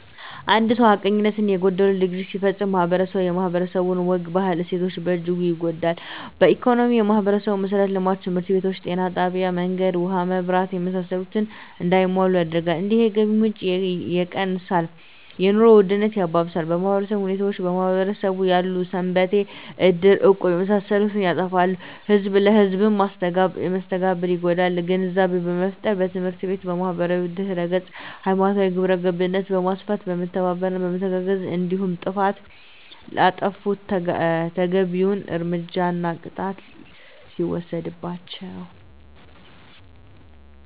አንድ ሰው ሀቀኝነት የጎደለው ድርጊት ሲፈፀም ማህበረስቡ የማህበረሰቡ ወግ ባህል እሴቶች በእጅጉ ይጎዳል በኢኮኖሚ የማህበረሰቡን መሠረተ ልማቶች( ትምህርት ቤቶች ጤና ጣቢያ መንገድ ውሀ መብራት እና የመሳሰሉት) እንዳይሟሉ ያደርጋል እንዲሁም የገቢ ምንጭ የቀንሳል የኑሮ ውድነት ያባብሳል በማህበራዊ ሁኔታዎች በማህበረሰቡ ያሉ ሰንበቴ እድር እቁብ የመሳሰሉት ይጠፋሉ ህዝብ ለህዝም መስተጋብሩ ይጎዳል ግንዛቤ በመፍጠር በትምህርት ቤት በማህበራዊ ድህረገፅ ሀይማኖታዊ ግብረገብነት በማስፋት በመተባበርና በመተጋገዝ እንዲሁም ጥፍት ላጠፉት ተገቢዉን እርምጃና ቅጣት ሲወሰድባቸው